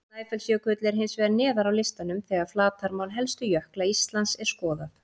Snæfellsjökull er hins vegar neðar á listanum þegar flatarmál helstu jökla Íslands er skoðað.